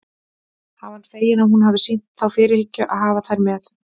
Hann var feginn að hún hafði sýnt þá fyrirhyggju að hafa þær með.